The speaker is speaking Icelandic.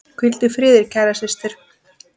Hvíldu í friði, kæra systir.